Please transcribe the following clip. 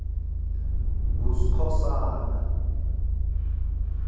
nguskhosana